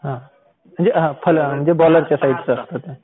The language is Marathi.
हां म्हणजे बॉलरच्या साईडचं असतात